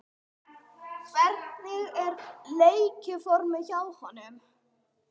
Hvernig er leikformið hjá honum?